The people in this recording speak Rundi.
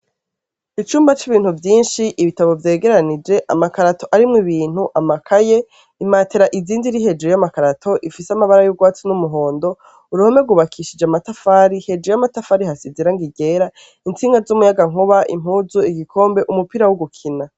Icumba cibintu vyinshi ibitabo vyegeranije amakarato arimwo ibintu amakaye imatelas izinze ziri hejuru yamakarato zifise amabara yu urwatsi yumuhondo uruhome rwubakishije amatafari hejuru yamatafari hasize irangi ryera itsinga zumuyaga nkuba impuzu ibikombe umupira wo gukina